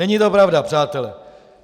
Není to pravda, přátelé!